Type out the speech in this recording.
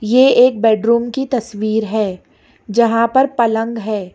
ये एक बेडरूम की तस्वीर है जहां पर पलंग है।